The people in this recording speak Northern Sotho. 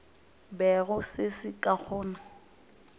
bego se le ka gona